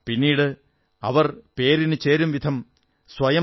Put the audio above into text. പിന്നീട് അവർ പേരിനുചേരും വിധം സ്വയം സമർപ്പിച്ചു പേരിനെ അന്വർഥമാക്കി